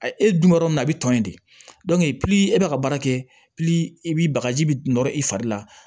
E e dun bɛ yɔrɔ min na a bɛ tɔn in de e bɛ ka baara kɛ i b'i bagaji nɔrɔ i fari la